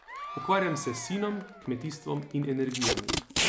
Ukvarjam se s sinom, kmetijstvom in energijami.